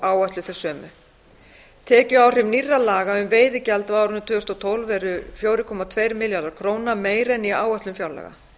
áætluð þau sömu tekjuáhrif nýrra laga um veiðigjald á árinu tvö þúsund og tólf eru fjögur komma tveimur milljörðum króna meiri en í áætlun fjárlaga